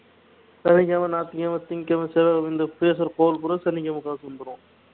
வெள்ளிக்கிழமை ஞாயிற்றுக்கிழமை திங்கட்கிழமை செவ்வாய்க்கிழமை இந்த பேசுற கால் பூரா சனிக்கிழமை காசு வந்துரும்